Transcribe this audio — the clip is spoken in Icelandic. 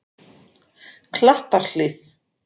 Klapparhlíð